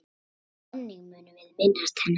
Þannig munum við minnast hennar.